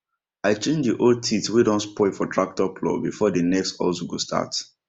i change dey old teeth wey don spoil for tractor plough before dey next hustle go start